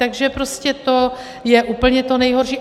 Takže prostě to je úplně to nejhorší.